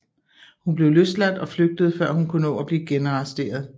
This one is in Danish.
Hun blev løsladt og flygtede før hun kunne nå blive genarresteret